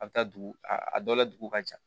A bɛ taa dugu a dɔ la dugu ka ca